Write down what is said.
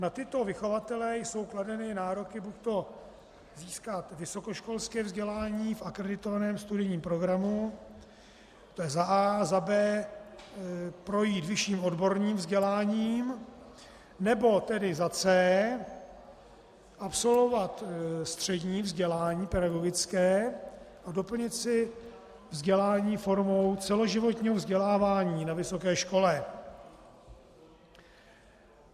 Na tyto vychovatele jsou kladeny nároky buďto získat vysokoškolské vzdělání v akreditovaném studijním programu, to je za a), a za b) projít vyšším odborným vzděláním, nebo tedy za c) absolvovat střední vzdělání pedagogické a doplnit si vzdělání formou celoživotního vzdělávání na vysoké škole.